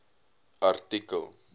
artikel